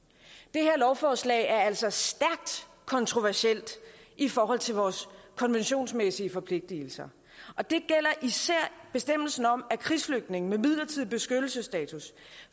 det her lovforslag er altså stærkt kontroversielt i forhold til vores konventionsmæssige forpligtelser og det gælder især bestemmelsen om at krigsflygtninge med midlertidigt beskyttelsesstatus